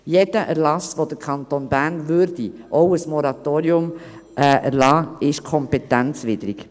Jeder Erlass, den der Kanton Bern erlassen würde, auch ein Moratorium, ist kompetenzwidrig.